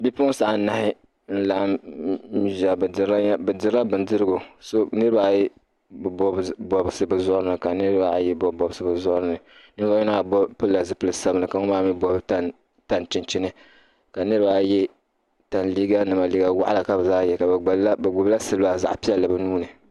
Bipuɣinsi anahi n-laɣim n-ʒia. Bɛ dirila bindirigu. Niriba ayi bi bɔbi bɔbisi bɛ zuɣiri ni ka niriba ayi bɔbi bɔbisi bɛ zuɣiri. Ninvuɣ' yino maa pilila zipil' sabilinli ka ŋumbala maa mi gbibi tani chinchini ka niriba ayi ye tani liiganima liiga waɣila ka bɛ zaa ye. Bɛ gbibila siliba zaɣ' piɛlli bɛ nuu ni.